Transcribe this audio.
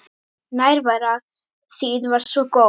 Nærvera þín var svo góð.